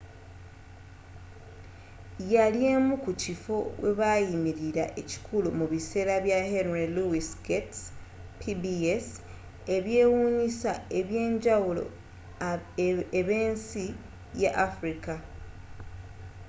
yali emu ku kifo webayimilira ekikulu mu biseera bya henry louis gates pbs eby'ewunyisa eby'enjawulo eb'ensi ya africa